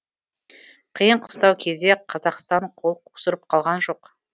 қиын қыстау кезде қазақстан қол қусырып қалған жоқ